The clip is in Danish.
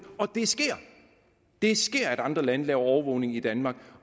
og det sker det sker at andre lande foretager overvågning i danmark